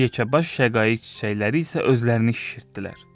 Yekəbaş şəqaiq çiçəkləri isə özlərini şişirtdilər.